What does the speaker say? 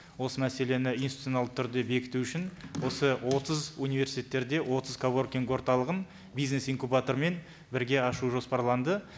осы мәселені институционалды түрде бекіту үшін осы отыз университеттерде отыз коворкинг орталығын бизнес инкубатормен бірге ашу жоспарланды